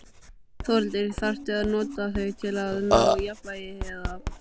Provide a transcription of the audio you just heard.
Þórhildur: Þarftu að nota þau til að ná jafnvægi, eða?